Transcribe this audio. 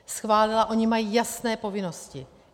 Schválila, oni mají jasné povinnosti.